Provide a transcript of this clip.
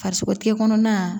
Farisogo tɛ kɔnɔna